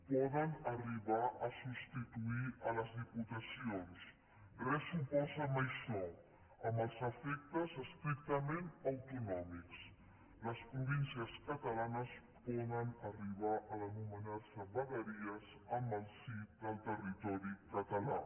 poden arribar a substituir les diputacions res s’oposa a això amb els efectes estrictament autonòmics les províncies catalanes poden arribar a denominar se vegueries en el si del territori català